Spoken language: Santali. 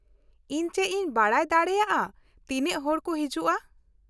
ᱤᱧ ᱪᱮᱫ ᱤᱧ ᱵᱟᱰᱟᱭ ᱫᱟᱲᱮᱭᱟᱜᱼᱟ ᱛᱤᱱᱟᱹᱜ ᱦᱚᱲ ᱠᱚ ᱦᱤᱡᱩᱜᱼᱟ ?